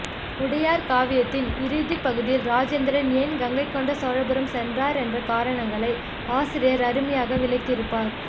உடையார் காவியத்தின் இறுதிபகுதியில் ராஜேந்திரன் ஏன் கங்கை கொண்ட சோழபுரம் சென்றான் என்ற காரணங்களை ஆசிரியர் அருமையாக விளக்கியிருப்பார்